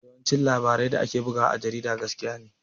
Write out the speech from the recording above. Yawancin labarai da ake bugawa a jarida gaskiya ne